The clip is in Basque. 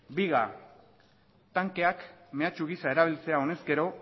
biga tankeak mehatxu gisa erabiltzea honezkero